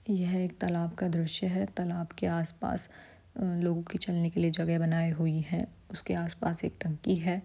यह एक तलाब का दृश्य है तलाब के आस-पास लोगो के चलने की जगह बनाई हुई है उसके आस-पास एक टंकी है ।